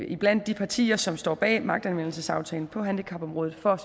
iblandt de partier som står bag magtanvendelsesaftalen på handicapområdet for